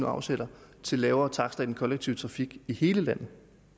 afsætter til lavere takster i den kollektive trafik i hele landet